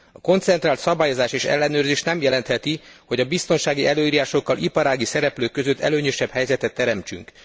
A koncentrált szabályozás és ellenőrzés nem jelentheti azt, hogy a biztonsági előírásokkal iparági szereplők között előnyösebb helyzetet teremtünk.